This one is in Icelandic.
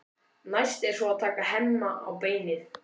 Næst er svo að taka Hemma á beinið.